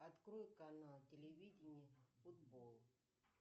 открой канал телевидения футбол